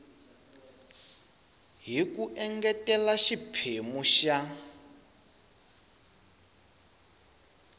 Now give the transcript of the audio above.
hi ku engetela xiphemu xa